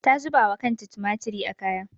Ta zuba wa kanta tumatiri a kaya.